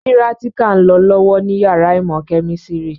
Pírátíkà ń lọ lọ́wọ́ ní yàrá ìmọ̀ kẹ̀mísírì